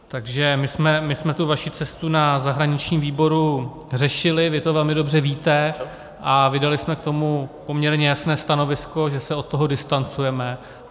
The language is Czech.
Takže my jsme tu vaši cestu na zahraničním výboru řešili, vy to velmi dobře víte, a vydali jsme k tomu poměrně jasné stanovisko, že se od toho distancujeme.